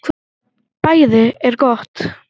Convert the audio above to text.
BÆÐI ER GOTT